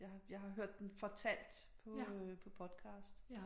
Jeg har jeg har hørt den fortalt på podcast